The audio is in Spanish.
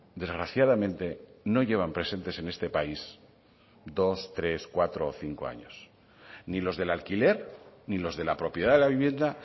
desgraciadamente no llevan presentes en este país dos tres cuatro o cinco años ni los del alquiler ni los de la propiedad de la vivienda